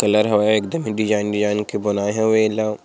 colour होव एकदम design design के बनाई होवई इल्ला--